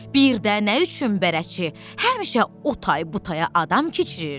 Birdə nə üçün bərəçi həmişə o tay bu taya adam keçirir?